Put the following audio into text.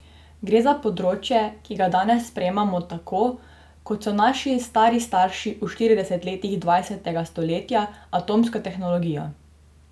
Gre za področje, ki ga danes sprejemamo tako, kot so naši stari starši v štiridesetih letih dvajsetega stoletja atomsko tehnologijo.